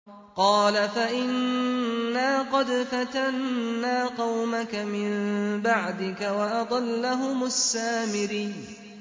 قَالَ فَإِنَّا قَدْ فَتَنَّا قَوْمَكَ مِن بَعْدِكَ وَأَضَلَّهُمُ السَّامِرِيُّ